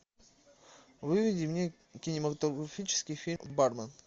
выведи мне кинематографический фильм бармен